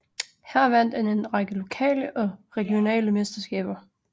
Her vandt han en række lokale og regionale mesterskaber